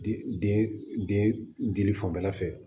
Dili fanfɛla fɛ